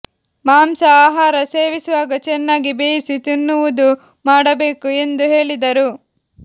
ಮಾಂಸ ಆಹಾರ ಸೇವಿಸುವಾಗ ಚೆನ್ನಾಗಿ ಬೇಯಿಸಿ ತಿನ್ನುವುದು ಮಾಡಬೇಕು ಎಂದು ಹೇಳಿದರು